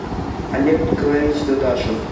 олег николаевич дадашев